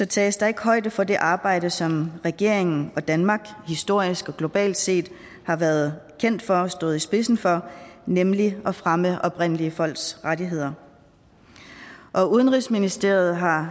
tages der ikke højde for det arbejde som regeringen og danmark historisk og globalt set har været kendt for og stået i spidsen for nemlig at fremme oprindelige folks rettigheder udenrigsministeriet har